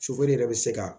yɛrɛ bɛ se ka